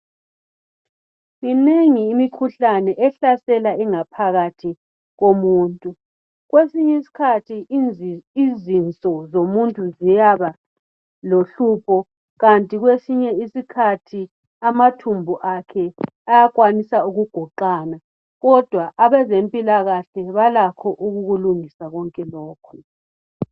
Minengi imikhuhlane ehlasela ingaphakathi yomuntu. Kwesinye isikhathi izinso zomuntu ziyaba lohlupho kanti kwesinye isikhathi amathumbu akhe ayakwanisa ukugoqana kodwa abezempilakahle balakho ukukulungisa konke lokhu.